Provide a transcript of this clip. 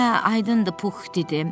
Hə, aydındır,” Pux dedi.